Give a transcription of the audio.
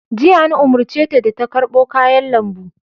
Jiya, an umarce ta da ta karɓo kayan lambu!